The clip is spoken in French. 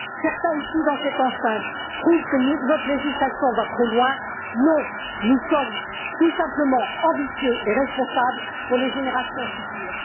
Certains, ici dans cette enceinte, trouvent que notre législation va trop loin, mais non, nous sommes tout simplement ambitieux et responsables pour les générations futures.